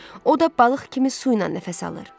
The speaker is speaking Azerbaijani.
O da balıq kimi su ilə nəfəs alır.